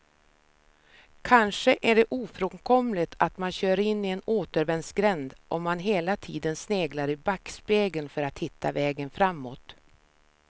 Kanske är det ofrånkomligt att man kör in i en återvändsgränd om man hela tiden sneglar i backspegeln för att hitta vägen framåt.